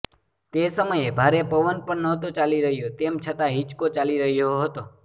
તે સમયે ભારે પવન પણ નહોતો ચાલી રહ્યો તેમ છતાં હિંચકો ચાલી રહ્યો હતો